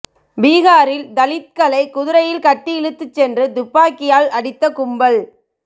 பீகாரில் தலித்களை குதிரையில் கட்டி இழுத்துச் சென்று துப்பாக்கியால் அடித்த கும்பல்